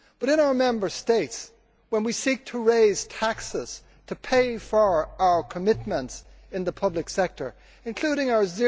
But in our Member States, when we seek to raise taxes to pay for our commitments in the public sector including our